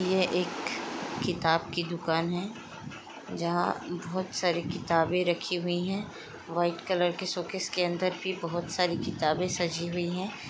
यह एक किताब की दूकान हैं जहाँ बोहत सारे किताबें रखी हुई हैं वाइट कलर के शोकेस के अंदर भी बोहत सारी किताबें सजी हुई हैं।